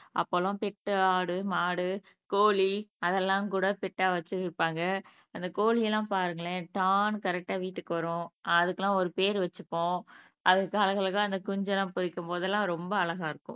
அப்போ எல்லாம் பெட் ஆடு, மாடு, கோழி அதெல்லாம்கூட பெட்டா வச்சுருப்பாங்க அந்த கோழி எல்லாம் பாருங்களேன் டாண்ணு கரெக்ட்டா வீட்டுக்கு வரும் அதுக்கெல்லாம் ஒரு பேர் வச்சுப்போம் அதுக்கு அழகழகா குஞ்சு எல்லாம் பொரிக்கும் போதெல்லாம் ரொம்ப அழகா இருக்கும்